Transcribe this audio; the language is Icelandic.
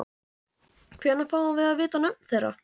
Hvenær fáum við að vita nöfn þeirra?